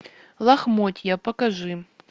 лохмотья покажи